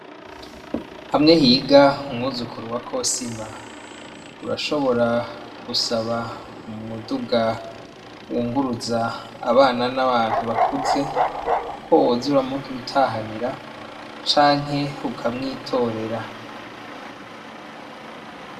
Hamwe higa umwuzukuru wa kosima urashobora gusaba umuduga wunguruza abana n' abantu bakuze ko woza uramudutahanira canke ukamwitorera.